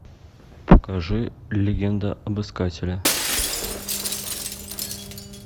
покажи легенда об искателе